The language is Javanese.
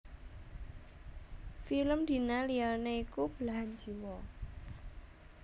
Film Dina liyané iku Belahan Jiwa